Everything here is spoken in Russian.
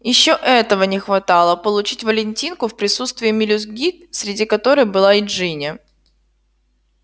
ещё этого не хватало получить валентинку в присутствии мелюзги среди которой была и джинни